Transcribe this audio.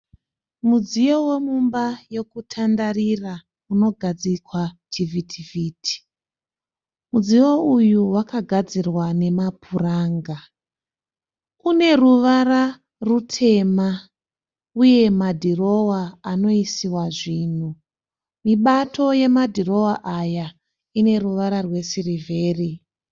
Mudziyo wemumba yokutandarira unogadzikwa chivhiti-vhiti. Mudziyo uyu wakagadzirwa nemapuranga. Une ruvara rutema uye madirowa anoisiwa zvinhu. Mibato yemadhirowa aya ine ruvara rwesirivheri.